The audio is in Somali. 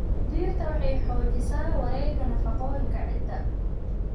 Dhirta waxay xoojisaa wareegga nafaqooyinka ciidda.